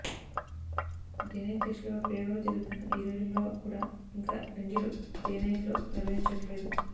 day night టెస్టులపై ప్రయోగాలు జరుగుతున్న ఈ రోజుల్లో కూడా ఇంకా రంజీలు డేనైట్లో నిర్వహించట్లేదు